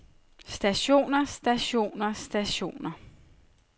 stationer stationer stationer